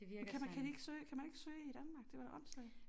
Men kan man kan de ikke søge kan man ikke søge i Danmark det var da åndssvagt